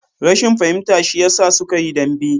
Rashin fahimta shi ya sa suka yi dambe